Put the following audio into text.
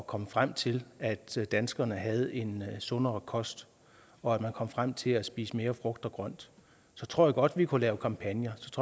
komme frem til at til at danskerne havde en sundere kost og at man kom frem til at spise mere frugt og grønt så tror jeg godt at vi kunne lave kampagner